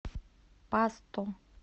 пасто